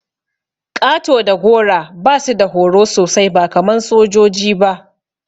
Ƙato da gora basu da horo sosai ba kaman sojoji ba.